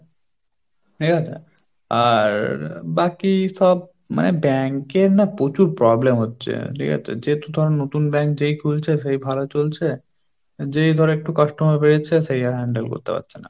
ঠিক আছে আর আহ বাকি সব মানে bank এর না প্রচুর problem হচ্ছে, ঠিক আছে যেহেতু ধরো নতুন bank যেই খুলছে সেই ভালো চলছে যেই ধরো একটু customer বেড়ে যাচ্ছে, সেই আর handle করতে পারছে না।